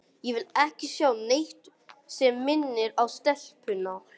Ég vil ekki sjá neitt sem minnir á stelpuna.